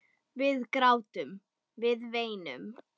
Við grátum, við veinum.